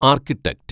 architect